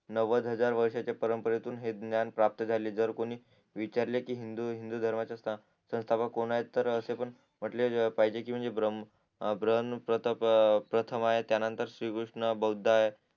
नव्हद हजार वर्षाच्या परंपरेतून हे ज्ञान प्राप्त झाले जर कोणी विचारले कि हिंदू धर्माचे स्था संसथापक तर असे पण म्हंटले. पाहिजे कि ब्र ब्रम्हा प्रथम आहेत त्या नंतर श्री कृष्ण बौद्ध आहेत